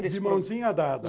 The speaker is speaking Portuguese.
De mãozinha dada.